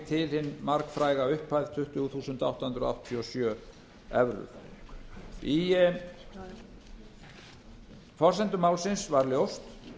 hin margfræga upphæð tuttugu þúsund átta hundruð áttatíu og sjö evrur í forsendum málsins var ljóst